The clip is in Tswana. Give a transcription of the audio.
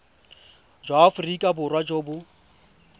jwa aforika borwa jo bo